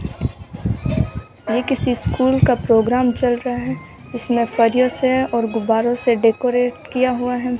ये किसी स्कूल का प्रोग्राम चल रहा है इसमें फरियों से और गुब्बारों से डेकोरेट किया हुआ है।